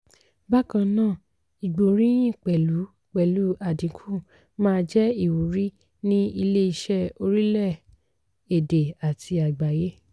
bákan náà ìgbóríyìn pẹ̀lú pẹ̀lú àdínkù máa jẹ́ ìwúrí ní ilé-iṣẹ́ orílẹ̀ èdè àti àgbáyé.